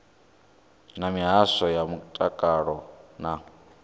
na mihasho ya mutakalo na